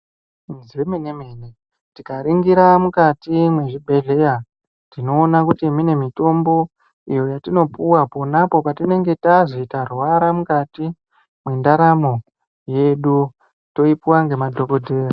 Zvemene-mene tikaringira mukati mwezvibhehleya tinoona kuti mune mitombo iyo yatinopuwa ponapo patinenge tazi tarwara mukati mwendaramo yedu. Toipuwa ngemadhogodheya.